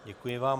Děkuji vám.